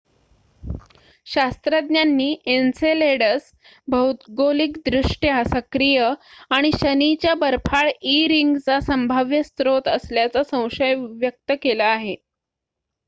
शास्त्रज्ञांनी एन्सेलेडस भौगोलिकदृष्ट्या सक्रिय आणि शनीच्या बर्फाळ ई रिंगचा संभाव्य स्रोत असल्याचा संशय व्यक्त केला आहे